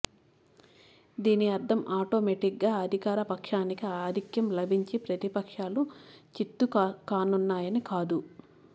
దీని అర్థం ఆటోమేటిక్గా అధికారపక్షానికి ఆధిక్యం లభించి ప్రతిపక్షాలు చిత్తుకానున్నాయని కాదు